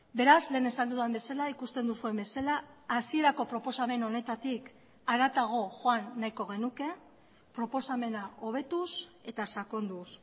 beraz lehen esan dudan bezala ikusten duzuen bezala hasierako proposamen honetatik haratago joan nahiko genuke proposamena hobetuz eta sakonduz